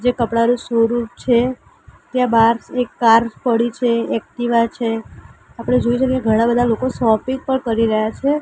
જે કપડાનું શોરૂમ છે ત્યાં બાર એક કાર પડી છે એક્ટિવા છે આપડે જોઈ છે કે ઘણા બધા લોકો શોપિંગ પણ કરી રહ્યા છે.